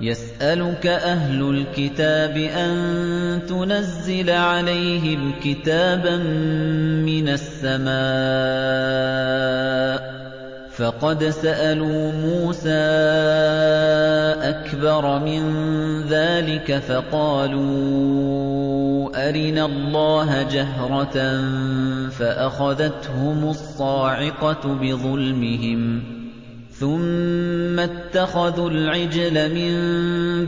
يَسْأَلُكَ أَهْلُ الْكِتَابِ أَن تُنَزِّلَ عَلَيْهِمْ كِتَابًا مِّنَ السَّمَاءِ ۚ فَقَدْ سَأَلُوا مُوسَىٰ أَكْبَرَ مِن ذَٰلِكَ فَقَالُوا أَرِنَا اللَّهَ جَهْرَةً فَأَخَذَتْهُمُ الصَّاعِقَةُ بِظُلْمِهِمْ ۚ ثُمَّ اتَّخَذُوا الْعِجْلَ مِن